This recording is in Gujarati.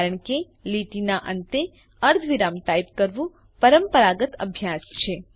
કારણ કે લીટીના અંતે અર્ધવિરામ ટાઈપ કરવું પરંપરાગત અભ્યાસ છે